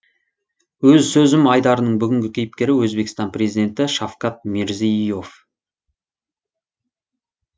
өз сөзім айдарының бүгінгі кейіпкері өзбекстан президенті шавкат мирзие ев